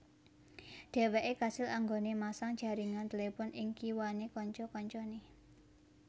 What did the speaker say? Dheweke kasil anggone masang jaringan telepon ing kiwane kanca kancane